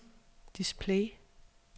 display